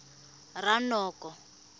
ranoko